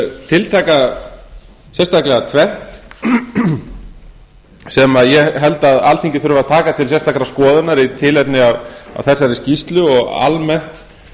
tiltaka sérstaklega tvennt sem ég held að alþingi þurfi að taka til sérstakrar skoðunar í tilefni af þessari skýrslu og almennt